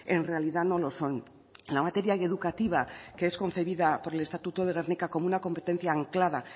en realidad no lo son en la materia educativa que es concebida por el estatuto de gernika como una anclada